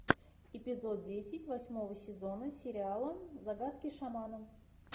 эпизод десять восьмого сезона сериала загадки шамана